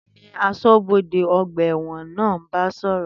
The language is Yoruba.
Tani asọ́bodè ọgbà ẹ̀wọ̀n náà ń bá sọ̀rọ̀?